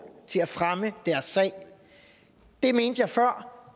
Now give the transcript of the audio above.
til at fremme deres sag det mente jeg før